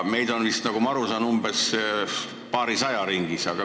Meid on vist, nagu ma aru saan, paarisaja ringis.